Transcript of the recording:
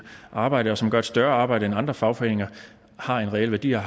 arbejde og som gør et større arbejde end andre fagforeninger har en reel værdi og